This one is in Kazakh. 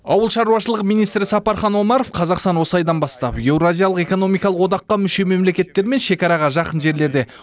ауыл шаруашылығы министрі сапархан омаров қазақстан осы айдан бастап еуразиялық экономикалық одаққа мүше мемлекеттермен шекараға жақын жерлерде